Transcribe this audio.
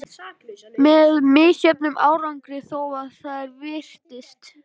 Með misjöfnum árangri þó, að því er virtist.